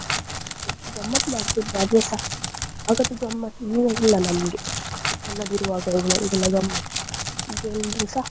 ಎಸ್ಟು ಗಮ್ಮತ್ ಮಾಡ್ತಾ ಇದ್ವಿ ಅದುಸಾ ಆಗದ್ದು ಗಮ್ಮತ್ ಈಗ ಇಲ್ಲ ನಮ್ಗೆ ಸಣ್ಣದಿರುವಾಗ ಗಮ್ಮತ್ ಈಗ ಎಲ್ರೂಸ.